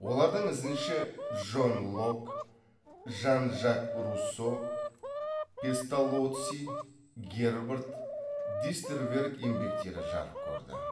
олардың ізінше джон локк жан жак руссо песталоцци гербард дистерверг еңбектері жарық көрді